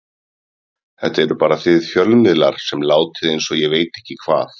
Þetta eruð bara þið fjölmiðlar sem látið eins og ég veit ekki hvað